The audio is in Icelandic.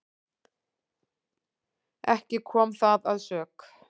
Ekki kom það að sök.